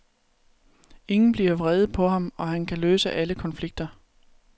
Ingen bliver vrede på ham, og han kan løse alle konflikter.